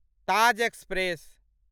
Taj express